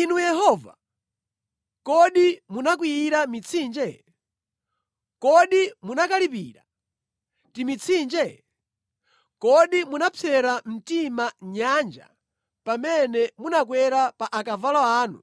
Inu Yehova, kodi munakwiyira mitsinje? Kodi munakalipira timitsinje? Kodi munapsera mtima nyanja pamene munakwera pa akavalo anu